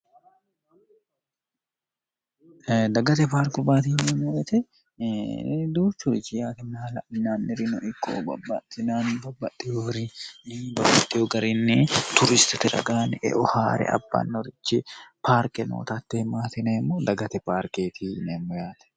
dagate baarku baati himmoretedu curichi yaatinmahla'inaannirino ikkohobabbaxtinaanni babbaxxihoorini babbaxxiho garinni turistiti ragaani eo haa're abbannorichi paarqe nootatte himmaatineemmo dagate paarkeetiineemmo yaate